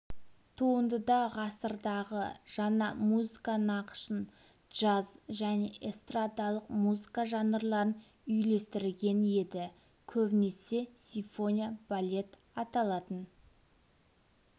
туындыда ғасырдағы жаңа музыка нақышын джаз және эстрадалық музыка жанрларын үйлестірген еді көбінесе симфония-балет аталатын